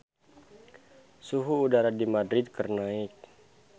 Suhu udara di Madrid keur naek